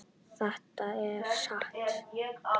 Það er satt.